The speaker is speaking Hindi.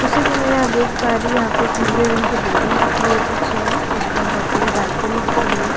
जैसे कि मैं यहां देख पा रही हूं यहां पे एक नीले रंग की बिल्डिंग दिख रही है पीछे में जिसमें बहुत बड़ी बालकनी दिख रही है।